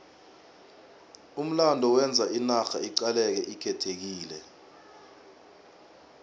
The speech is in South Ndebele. umlando wenza inarha iqaleke ikhethekile